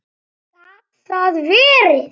Gat það verið.?